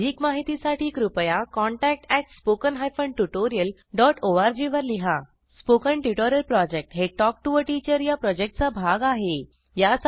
अधिक माहितीसाठी कृपया contact at spoken hyphen tutorial dot org वर लिहा स्पोकन ट्युटोरियल प्रॉजेक्ट हे टॉक टू टीचर या प्रॉजेक्टचा भाग आहे